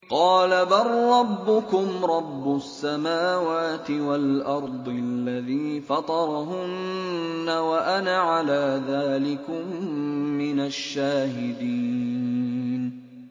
قَالَ بَل رَّبُّكُمْ رَبُّ السَّمَاوَاتِ وَالْأَرْضِ الَّذِي فَطَرَهُنَّ وَأَنَا عَلَىٰ ذَٰلِكُم مِّنَ الشَّاهِدِينَ